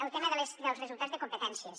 el tema dels resultats de competències